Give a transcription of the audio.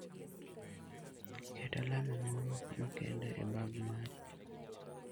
Ket alama moro makende e bag mari.